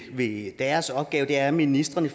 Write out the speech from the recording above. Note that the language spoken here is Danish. ved deres opgave er at ministrene